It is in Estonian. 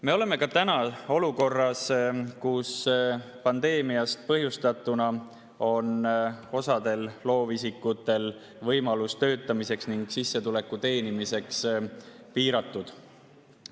Me oleme ka täna olukorras, kus pandeemiast põhjustatuna on osal loovisikutel töötamise ning sissetuleku teenimise võimalus piiratud.